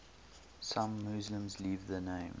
some muslims leave the name